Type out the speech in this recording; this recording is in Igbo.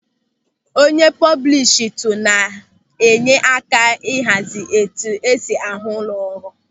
Onye pọbụlistu na-enye aka ịhazi etu esi ahụ ụlọ ọrụ.